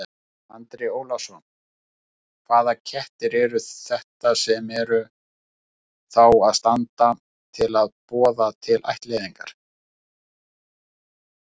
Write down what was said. Andri Ólafsson: Hvaða kettir eru þetta sem að eru, þá standa til boða til ættleiðingar?